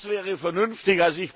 Das wäre vernünftig.